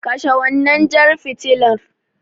Kashe wannan jar fitilar.